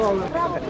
Biz döyüşdük.